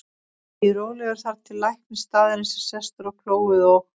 Ég bíð rólegur þar til læknir staðarins er sestur á klóið og